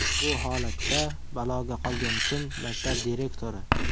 Bu holatda baloga qolgan kim maktab direktori.